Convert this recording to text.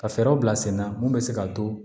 Ka fɛɛrɛ bila sen na mun bɛ se ka to